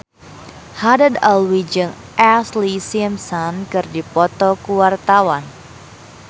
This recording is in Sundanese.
Haddad Alwi jeung Ashlee Simpson keur dipoto ku wartawan